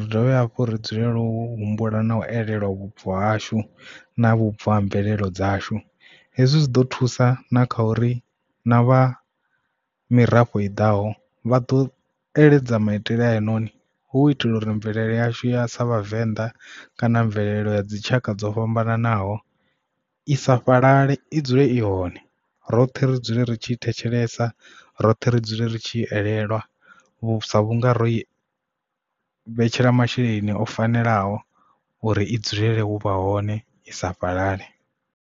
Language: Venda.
ri dovhe hafhu ri dzulela u humbula na u elelwe vhubvo hashu na vhubvo ha mvelelo dzashu. Hezwi zwi ḓo thusa na kha uri na vha mirafho i ḓaho vha ḓo eletshedza maitele a heinoni hu itela uri mvelele yashu ya sa vhavenḓa kana mvelelo ya dzi tshaka dzo fhambananaho i sa fhalale i dzule i hone roṱhe ri dzule ri tshi thetshelesa roṱhe ri dzule ri tshi elelwa sa vhunga ro i vhetshela masheleni o fanelaho uri i dzulele u vha hone i sa fhalale.